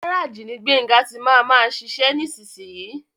Gáràjì ní Gbénga tí máa má ṣiṣe nísiyi.